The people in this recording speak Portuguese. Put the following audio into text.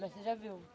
Mas você já viu.